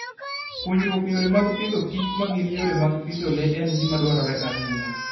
Puonjruok yore mag pidhoKich ma gin yore mag pidho le en gima dwarore ahinya.